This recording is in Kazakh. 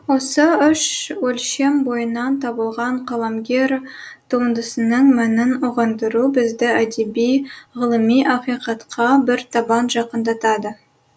осы үш өлшем бойынан табылған қаламгер туындысының мәнін ұғындыру бізді әдеби ғылыми ақиқатқа бір табан жақындатады